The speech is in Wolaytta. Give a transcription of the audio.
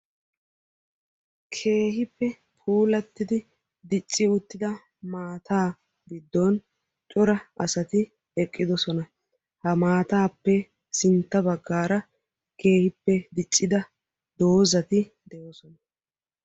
Keehippe puulattidi dicci uttida maataa giddon cora asati eqqidosona. Ha maataappe sintta baggaara keehippe diccida doozati de"oosona.